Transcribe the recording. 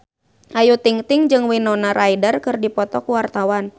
Ayu Ting-ting jeung Winona Ryder keur dipoto ku wartawan